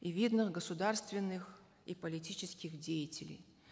и видных государственных и политических деятелей